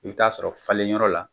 I bi taa sɔrɔ falenyɔrɔ la